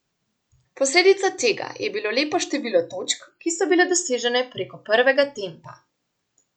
Posledica tega je bilo lepo število točk, ki so bile dosežene preko prvega tempa.